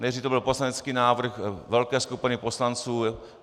Nejdřív to byl poslanecký návrh velké skupiny poslanců.